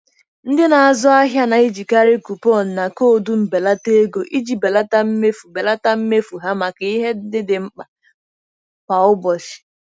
Ndị na-azụ ahịa na-ejikarị kupọn na koodu mbelata ego iji belata mmefu belata mmefu ha maka ihe ndị dị mkpa kwa ụbọchị.